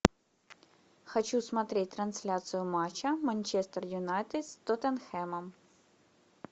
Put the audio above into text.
хочу смотреть трансляцию матча манчестер юнайтед с тоттенхэмом